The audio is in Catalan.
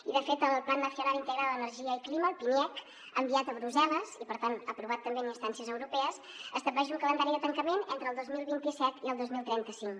i de fet el plan nacional integral d’energia i clima el pniec enviat a brussel·les i per tant aprovat també en instàncies europees estableix un calendari de tancament entre el dos mil vint set i el dos mil trenta cinc